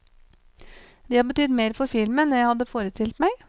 De har betydd mer for filmen enn jeg hadde forestilt meg.